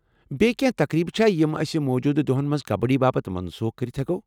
بییہ كینہہ تقرییبہٕ چھا یِم اسۍ موٗجوٗدٕ دوہن منز كبڈی باپت منسوٗخ کٔرتھ ہٮ۪کوکھ ؟